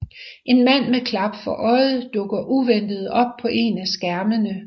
En mand med klap for øjet dukker uventet op på en af skærmene